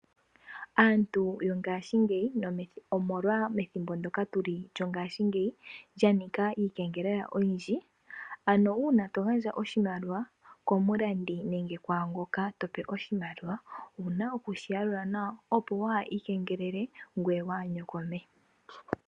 Aantu yongaashingeyi, omolwa methimbo ndyoka tu li lyongashingeyi, olyanika iikengelela oyindji. Ano uuna to gandja oshimaliwa komulandi nenge kwaangoka tope oshimaliwa, owuna okushi yalula nawa, opo waa iikengelele, ngweye waanyokome.